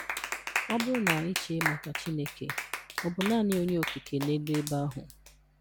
Ọ bụrụ na ị chee maka Chineke, Ọ bụ naanị Onye Okike n'elu ebe ahụ?